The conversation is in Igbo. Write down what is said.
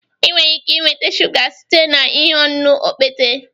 ị nwere ike nweta shuga site na ihe ọṅụṅụ okpete